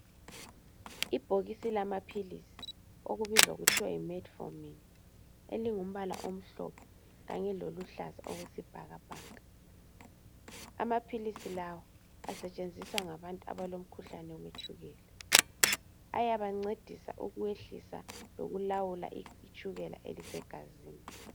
ibhokisi lamaphilisi okubizwa kuthwa Metformin elingumbala omhlophe kanye loluhlaza okwesibhakabhaka amaphilisi lawa asetshenziswa ngabantu abalo mkhuhlane wetshukela ayabancedisa ukwehlisa lokulawula umkhuhlane osegazini